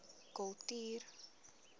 kultuur